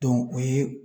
o ye